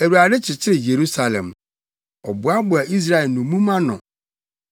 Awurade kyekyere Yerusalem; Ɔboaboa Israel nnommum ano.